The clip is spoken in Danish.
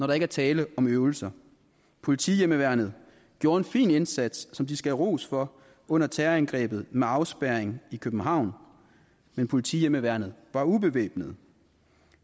der er tale om øvelser politihjemmeværnet gjorde en fin indsats som de skal have ros for under terrorangrebet med afspærring i københavn men politihjemmeværnet var ubevæbnet